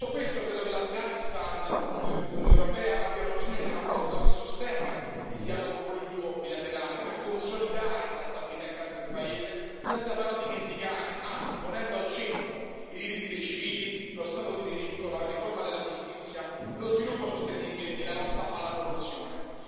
Detto questo, credo che l'Afghanistan e l'Unione europea abbiano bisogno di un accordo che sostenga il dialogo politico bilaterale per consolidare la stabilità interna del paese, senza però dimenticare, anzi ponendo al centro, i diritti dei civili, lo Stato di diritto, la riforma della giustizia, lo sviluppo sostenibile e la lotta alla corruzione.